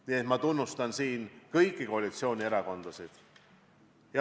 Nii et ma tunnustan siin kõiki koalitsioonierakondasid.